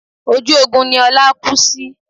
Ojú ogun ni Ọlá kú sí